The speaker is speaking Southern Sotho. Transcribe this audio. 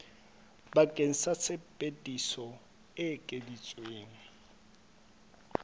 bakeng sa tsebiso e ekeditsweng